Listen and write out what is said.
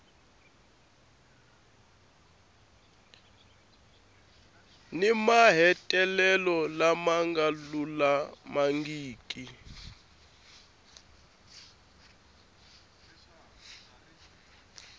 ni mahetelelo lama nga lulamangiki